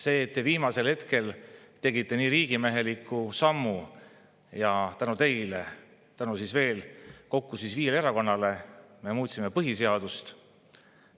Selle eest, et te viimasel hetkel tegite nii riigimeheliku sammu, ja tänu teile, tegelikult tänu viiele erakonnale me muutsime põhiseadust.